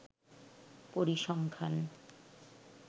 পরিসংখ্যান